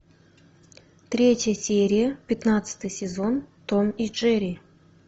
третья серия пятнадцатый сезон том и джерри